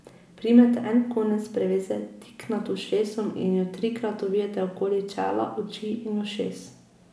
Primite en konec preveze tik nad ušesom in jo trikrat ovijte okoli čela, oči in ušes.